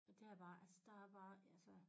Det er bare altså der er bare altså